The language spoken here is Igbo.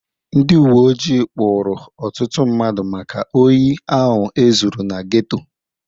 Ndị uwe ojii kpụụrụ ọtụtụ mmadụ maka ohi ahụ e zuru na geto.